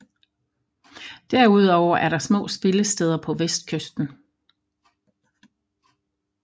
Derudover er der små spillesteder på vestkysten